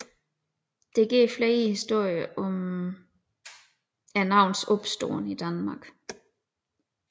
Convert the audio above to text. Der går flere historier om navnets opståen i Danmark